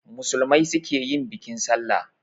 Musulmai su ke yin bikin sallah